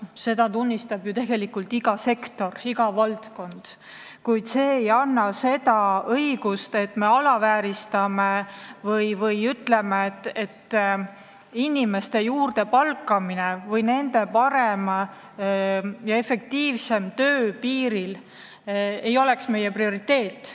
Seda tunnistab tegelikult iga sektor, iga valdkond, kuid see ei anna õigust alavääristada või öelda, et inimeste juurdepalkamine piirile või nende parem ja efektiivsem töö piiril ei oleks meie prioriteet.